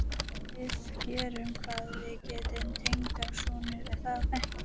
Við gerum hvað við getum, tengdasonur, er það ekki?